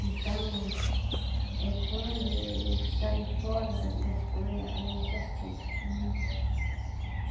Então, é quando eu saio fora da das coisas, ela me castiga, muito.